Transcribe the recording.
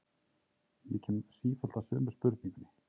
Ég kem sífellt að sömu spurningunni.